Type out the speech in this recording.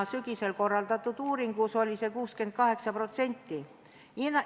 Sügisel korraldatud uuringu järgi oli neid 68%.